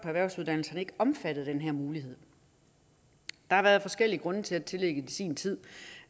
erhvervsuddannelser ikke omfattet af denne mulighed der har været forskellige grunde til at tillægget i sin tid